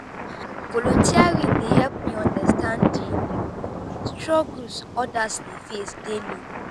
volunteering dey help me understand di struggles others dey face daily.